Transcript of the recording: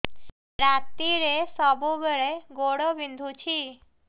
ରାତିରେ ସବୁବେଳେ ଗୋଡ ବିନ୍ଧୁଛି